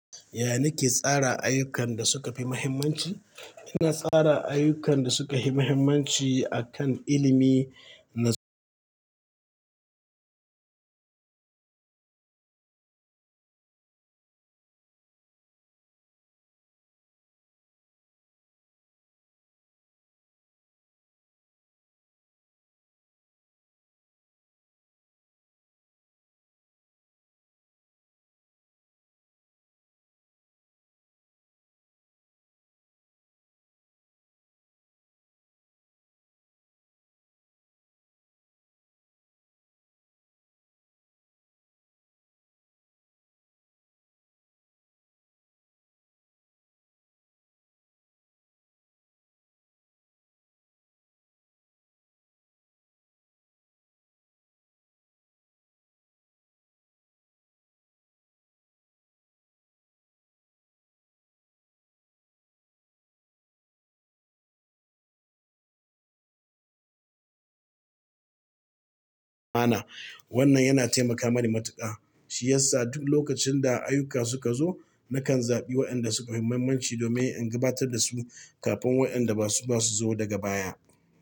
Yaya nake tsara ayyukan da suka fi mahimmanci? Ina tsara ayyukan da suka fi mahimmanci akan ilimi na su. Wannan yana taimaka mani matuƙa. Shi yasa duk lokacin da ayyuka suka zo, nakan zaɓi waɗanda suka fi mahimmanci domin in gabatar da su kafin wa'yanda ba su ba su zo daga baya.